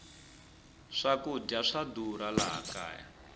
swakudya swa durha laha kaya